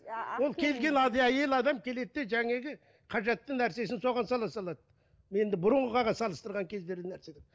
ол келген әйел адам келеді де қажетті нәрсесін соған сала салады енді бұрынғыға салыстырған кездері нәрседен